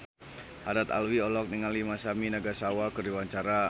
Haddad Alwi olohok ningali Masami Nagasawa keur diwawancara